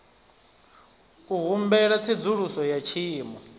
u humbela tsedzuluso ya tshiimo